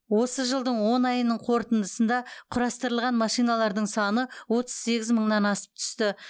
осы жылдың он айының қорытындысында құрастырылған машиналардың саны отыз сегіз мыңнан асып түсті